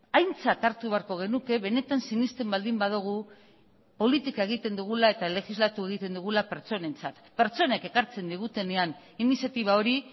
aintzat hartu beharko genuke benetan sinesten baldin badugu politika egiten dugula eta legislatu egiten dugula pertsonentzat pertsonek ekartzen digutenean iniziatiba hori